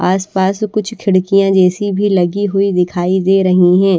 आस-पास कुछ खिड़कियां जैसी भी लगी हुई दिखाई दे रही हैं।